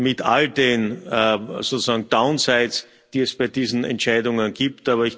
Mit all den downsides die es bei diesen Entscheidungen gibt.